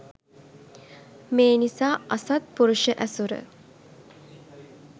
මේ නිසා අසත්පුරුෂ ඇසුර